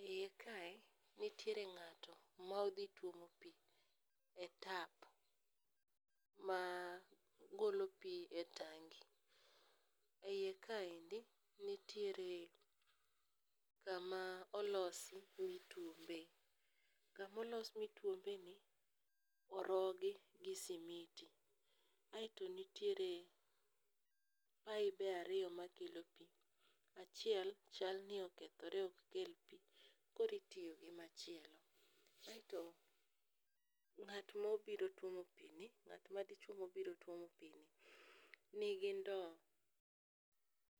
E iye kae, nitiere ng'ato ma odhi tuomo pi e tap magolo pi e tangi. E iye kaendi, nitiere kama olosi mituombe, kamolos mituombeni, orogi gi simiti, aeto nitiere pibe ariyo makelo pi, achiel chal ni okethore ok kel pi, koro itiyo gi machielo. Aeto, nga't madichwo mobiro tuomo pini, nigi ndo